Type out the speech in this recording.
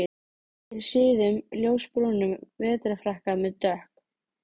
Ég er í síðum ljósbrúnum vetrarfrakka með dökk